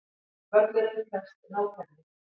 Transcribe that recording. Völlurinn krefst nákvæmni